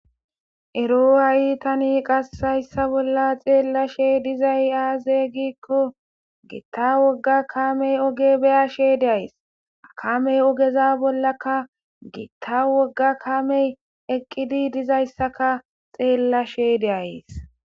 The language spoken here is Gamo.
Ero a7itani qassayssa bolla xeellashe dizay aazey giikko giitta wogga kamey oge beya she deays akamey ogeza bollaka giitta wogga kamey eqqidi dizayssaka xeellashe de'ays.